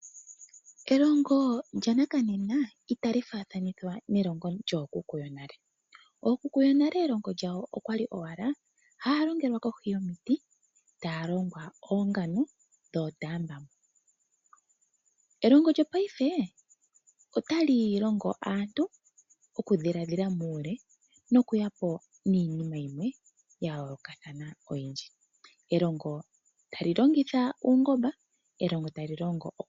Elongo lyanakanena itali faathanithwa nelongo lyookuku yonale. Ookuku yonale elongo lyawo okwali owala haaya longelwa kohi yomiti, taa longwa oongano dhootambamo. Nelongo lyopayife otali longo aantu okudhiladhila muule nokunduluka po iinima ya yoolokathana oyindji mokupitila muutekinolohi.